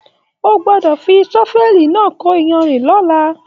O gbọdọ fí sọ́fẹ̀lí náà kò iyanrìn l'ọla!